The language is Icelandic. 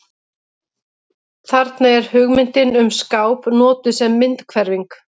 Þarna er hugmyndin um skáp notuð sem myndhverfing.